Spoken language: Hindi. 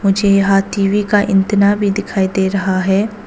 मुझे यहां टी_वी का एंटीना भी दिखाई दे रहा है।